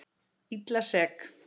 Illa sek.